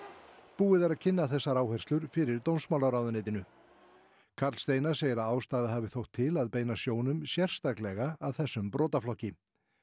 búið er að kynna þessar áherslur fyrir dómsmálaráðuneytinu karl Steinar segir að ástæða hafi þótt til að beina sjónum sérstaklega að þessum brotaflokki